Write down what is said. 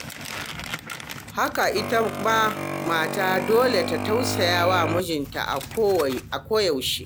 Haka ita ma mata dole ta tausaya mijinta a koyaushe.